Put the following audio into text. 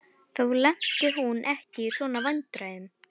Þá lenti hún ekki í svona vandræðum.